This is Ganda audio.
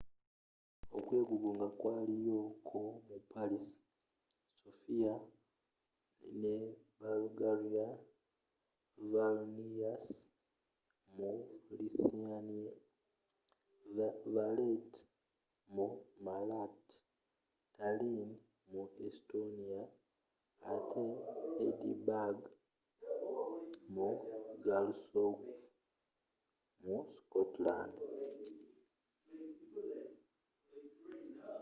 okwegugunga kwaliyo ko mu paris sofia mu bulgaria vilnius mu lithuania valeta mu malta tallin mu estonia ate edinburgh ne glasgow mu scotland